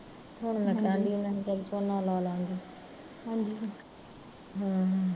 ਹੁਣ ਮੈਂ ਕਹਿਣ ਡਈ ਸੀ ਵੀ ਝੋਨਾ ਲਾਲਾਂਗੇ ਹਮ